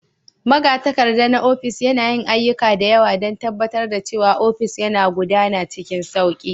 Magatakarda na ofis, yana yin ayyuka da yawa don tabbatar da cewa ofis yana gudana cikin sauƙi.